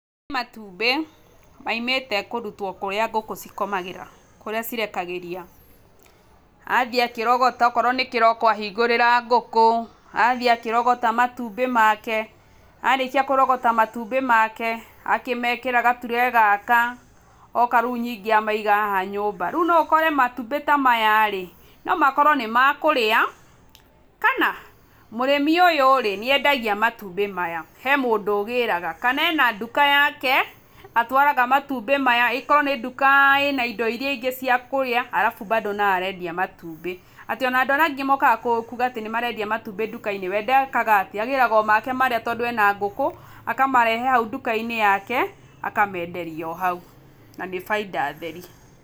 Matumbĩ moimĩte kũrutwo kũrĩa ngũkũ cikomagĩra, kũrĩa cirekagĩria, athiĩ akĩrogota okorwo nĩ kĩroko ahingũrĩra ngũkũ, athiĩ akĩrogota matumbĩ make, arĩkia kũrogota matumbĩ make akĩmekĩra gature gaka oka rĩu amaiga haha nyũmba, rĩu no ũkore matumbĩ ta maya rĩ, no makorwo nĩ makũrĩa, kana mũrĩmi ũyũ rĩ nĩendagia matumbĩ maya, he mũndũ ũgĩraga, kana ena duka yake atwaraga matumbĩ maya ĩkorwo nĩ duka ĩna indo iria ingĩ cia kũrĩa alafu bado no arendia matumbĩ, atĩ ona andũ arĩa angĩ mokaga kuga nĩmarendia matumbĩ duka-inĩ, we ndekaga atĩ, agĩraga o make marĩa tondũ ena ngũkũ, akamarehe hau duka-inĩ hake akamenderia o hau, na nĩ bainda theri.